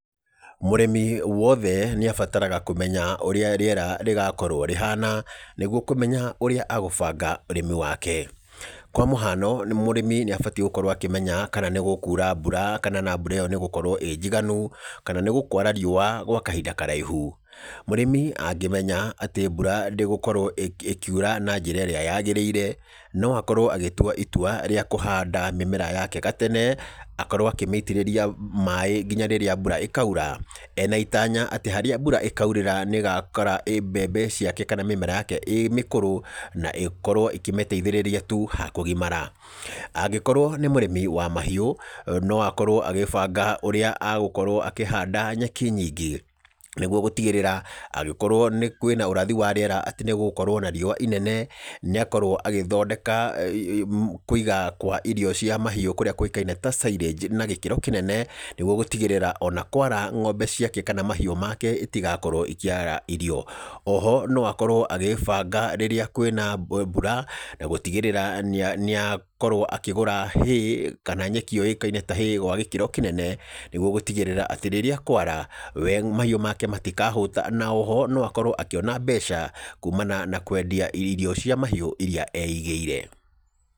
Mũrĩmi wothe nĩ abataraga kũmenya ũrĩa rĩera rĩgakorwo rĩhana nĩguo kũmenya ũrĩa agũbanga ũrĩmi wake. Kwa mũhano mũrĩmi nĩ abatie gũkorwo akĩmenya kana nĩ gũkura mbura kana na mbura ĩyo nĩ ĩgũkorwo ĩ njiganu kana nĩ gũkwara riũa gwa kahinda karaihu. Mũrĩmi angĩmenya atĩ mbura ndĩgũkorwo ĩkiura na njĩra ĩrĩa yagĩrĩire, noakorwo agĩtua itua ya kũhanda mĩmera yake gatene, akorwo akĩmĩitĩrĩria maĩ nginya rĩrĩa mbura ĩkaura, ena itanya atĩ harĩa mbura ĩkaurĩra nĩ ĩgakora mbembe ciake kana mĩmera yake ĩ mĩkũrũ na ĩkorwo ĩkĩmĩteithĩrĩria tu ha kũgimara. Angĩkorwo nĩ mũrĩmi wa mahiũ no akorwo agíbanga ũrĩa agũkorwo akĩhanda nyeki nyingĩ nĩguo gũtigĩrĩra atĩ agĩkorwo kwĩna ũrathi wa rĩera atĩ nĩgũgũkorwo na riũa inene nĩakorwo agĩthondeka kũiga kwa irio cia mahiũ kũrĩa kũĩkaine ta silage, na gĩkĩro kĩnene nĩguo gútigĩrĩra ona kwara ng'ombe ciake kana mahiũ make itigakorwo ikĩaga irio. O ho no akorwo agĩĩbanga rĩrĩa kwĩna mbura na gũtigĩrĩrĩra nĩa nĩakorwo akĩgũra hay kana nyeki yũĩkaine ta hay na gĩkĩro kĩnene, nĩguo gũtigĩrĩra atĩ rĩrĩa kwara we mahiũ make matikahũta, na oho no akorwo akĩona mbeca kumana na kwendia irio cia mahiũ iria eigĩire.